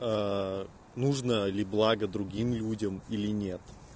аа нужно ли блага другим людям или нет